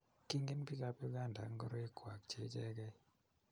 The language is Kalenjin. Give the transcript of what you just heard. Kingen biikab Uganda ak ngoroik kwak che ichekei.